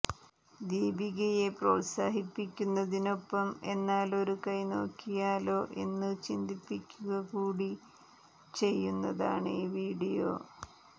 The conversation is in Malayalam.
ദീപികയെ പ്രോത്സാഹിപ്പിക്കുന്നതിനൊപ്പം എന്നാലൊരു കൈ നോക്കിയാലോ എന്ന് ചിന്തിപ്പിക്കുക കൂടി ചെയ്യുന്നതാണ് ഈ വീഡിയോ